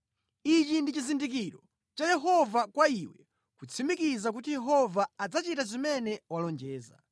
“ ‘Ichi ndi chizindikiro cha Yehova kwa iwe kutsimikiza kuti Yehova adzachita zimene walonjeza: